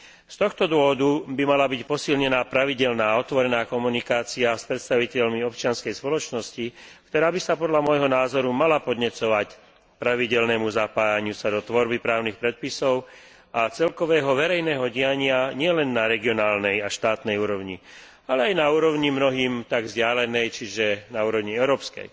Z tohto dôvodu by mala byť posilnená pravidelná a otvorená komunikácia s predstaviteľmi občianskej spoločnosti, ktorá by sa podľa môjho názoru mala podnecovať k pravidelnému zapájaniu sa do tvorby právnych predpisov a celkového verejného diania nielen na regionálnej a štátnej úrovni, ale aj na úrovni mnohým tak vzdialenej, čiže na úrovni európskej.